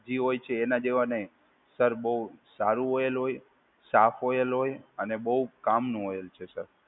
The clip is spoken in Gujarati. જે હોય છે એના જેવા નહીં. સર બહુ સારું ઓઇલ હોય, સાફ ઓઇલ હોય અને બહુ કામનું ઓઇલ છે સર.